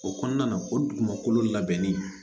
O kɔnɔna na o dugumakolo labɛnnen